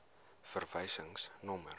verwysingsnommer